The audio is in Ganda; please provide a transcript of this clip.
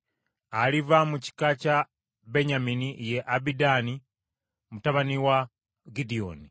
Aliva mu kika kya Benyamini ye Abidaani mutabani wa Gidyoni;